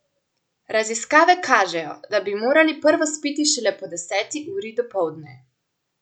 Raziskave kažejo, da bi morali prvo spiti šele po deseti uri dopoldne.